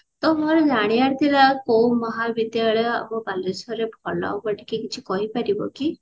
ତ ମୋର ଜାଣିବାର ଥିଲା କୋଉ ମହାବିଦ୍ୟାଳୟ ଆମ ବାଲେଶ୍ଵର ରେ ଭଲ ହେବ ଟିକେ କିଛି କହି ପାରିବ କି